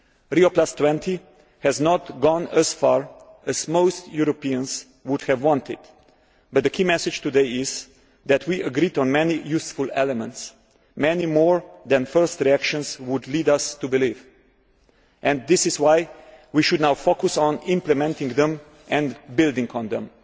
Rio20 has not gone as far as most Europeans would have wanted, but the key message today is that we agreed on many useful elements, many more than first reactions would lead us to believe, and this is why we should now focus on implementing them and building on them.